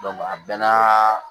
a bɛɛ n'a